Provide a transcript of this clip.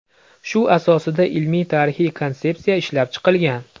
Shu asosida ilmiy-tarixiy konsepsiya ishlab chiqilgan.